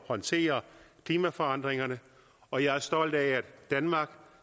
håndtere klimaforandringerne og jeg er stolt af at danmark